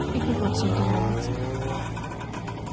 и как вам все это нравится